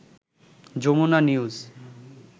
Jamuna news